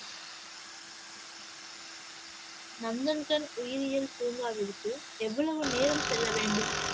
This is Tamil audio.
நந்தன்கன் உயிரியல் பூங்காவிற்கு எவ்வளவு நேரம் செல்ல வேண்டும்?